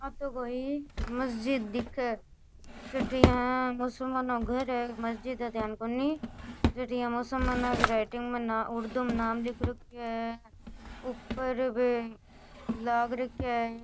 आ तो कोई मस्जिद दिखे है जट यहाँ मुसलमानो को घर है मस्जिद है ध्यान कोनी जट यहाँ मुसलमानों की राइटिंग में उर्दू नाम लिख रखयो है ऊपर भी लाग रखिया है।